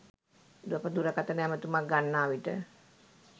අප දුරකථන ඇමැතුමක් ගන්නා විට